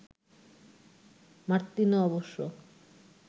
Martino অবশ্য